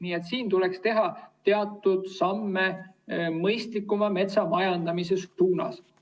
Nii et tuleks teha teatud samme mõistlikuma metsamajandamise suunas.